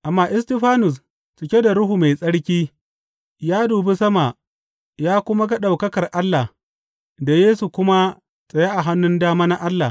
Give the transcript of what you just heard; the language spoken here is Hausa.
Amma Istifanus, cike da Ruhu Mai Tsarki, ya dubi sama ya kuma ga ɗaukakar Allah, da Yesu kuma tsaye a hannun dama na Allah.